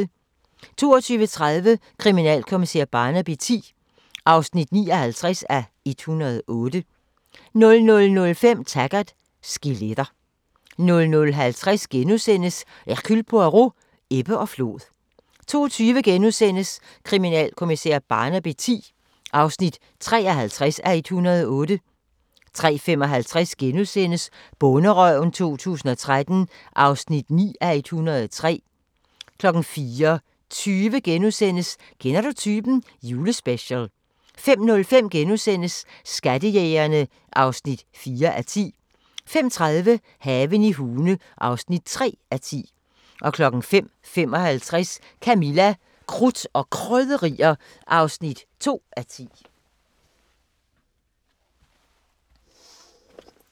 22:30: Kriminalkommissær Barnaby X (59:108) 00:05: Taggart: Skeletter 00:50: Hercule Poirot: Ebbe og flod * 02:20: Kriminalkommissær Barnaby X (53:108)* 03:55: Bonderøven 2013 (9:103)* 04:20: Kender du typen? – Julespecial * 05:05: Skattejægerne (4:10)* 05:30: Haven i Hune (3:10) 05:55: Camilla – Krudt og Krydderier (2:10)